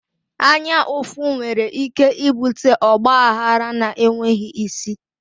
Anya ụfụ nwere ike ibute ọgba aghara na enweghị isi